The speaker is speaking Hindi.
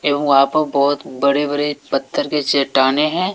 एवं वहां पर बहोत बड़े बड़े पत्थर के चट्टाने हैं।